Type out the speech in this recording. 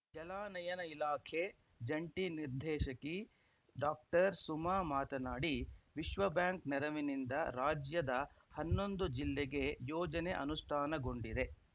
ಜಲಾನಯನ ಇಲಾಖೆ ಜಂಟಿ ನಿರ್ದೇಶಕಿ ಡಾಕ್ಟರ್ಸುಮಾ ಮಾತನಾಡಿ ವಿಶ್ವ ಬ್ಯಾಂಕ್‌ ನೆರವಿನಿಂದ ರಾಜ್ಯದ ಹನ್ನೊಂದು ಜಿಲ್ಲೆಗೆ ಯೋಜನೆ ಅನುಷ್ಟಾನಗೊಂಡಿದೆ